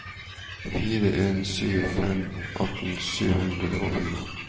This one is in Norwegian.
fire en sju fem atten sju hundre og fire